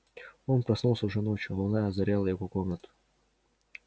он проснулся уже ночью луна озаряла его комнату